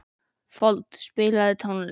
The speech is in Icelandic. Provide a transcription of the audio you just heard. Fold, spilaðu tónlist.